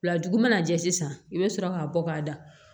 Wulaju mana jɛ sisan i bɛ sɔrɔ k'a bɔ k'a da